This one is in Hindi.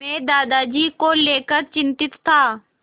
मैं दादाजी को लेकर चिंतित था